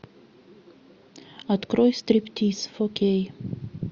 открой стриптиз фо кей